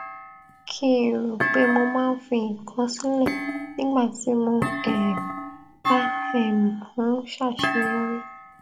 kí n rò pé mo máa ń fi nǹkan sílè nígbà tí mo um bá um ń ṣàṣeyọrí